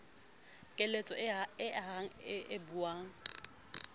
keletso e ahang e buang